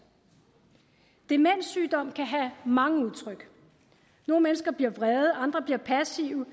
demenssygdom kan have mange udtryk nogle mennesker bliver vrede andre bliver passive